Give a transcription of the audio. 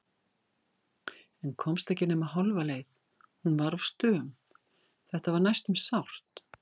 En komst ekki nema hálfa leið- hún var of stöm, þetta var næstum sárt.